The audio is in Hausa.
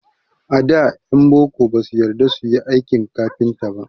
A da ƴan boko ba su yarda su yi aikin kafinta.